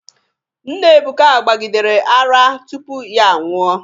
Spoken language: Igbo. Nna Ebuka gbagidere ara tupu ya a nwụọ.